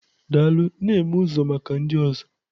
Daalụ, na-eme ụzọ maka ndị ọzọ.